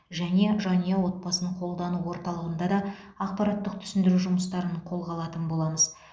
және жанұя отбасын қолдану ортылығында да ақпараттық түсіндіру жұмыстарын қолға алатын боламыз